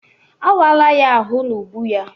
A wala ya ahụ n'ubu ya.